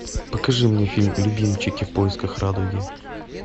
покажи мне фильм любимчики в поисках радуги